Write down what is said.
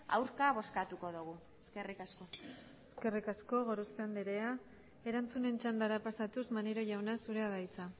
aurka bozkatuko dugu eskerrik asko eskerrik asko gorospe andrea erantzunen txandara pasatuz maneiro jauna zurea da hitza